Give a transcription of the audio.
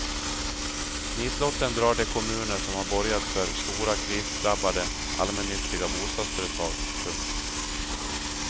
Nitlotten drar de kommuner som har borgat för stora krisdrabbade allmännyttiga bostadsföretag. punkt